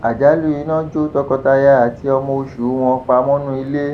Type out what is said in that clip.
àjálù iná jó tọkọtaya àti ọmọ oṣù wọn pa mọnú ilé